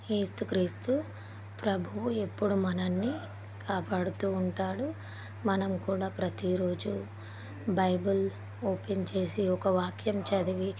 ఏసుక్రీస్తు ప్రబువు ఎప్పుడు మనల్ని కాపాడుతూ ఉంటాడు మనం కూడా ప్రతి రోజు బైబల్ ఓపెన్ చేసి ఒక్క వాక్యం చదివి --